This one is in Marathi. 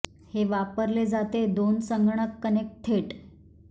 हे वापरले जाते दोन संगणक कनेक्ट थेट